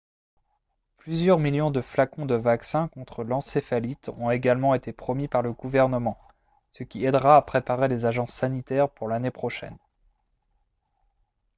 plusieurs millions de flacons de vaccin contre l'encéphalite ont également été promis par le gouvernement ce qui aidera à préparer les agences sanitaires pour l'année prochaine